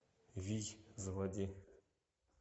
вий заводи